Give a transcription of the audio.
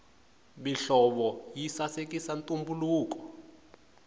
mihlovo yi sasekisa ntumbuluko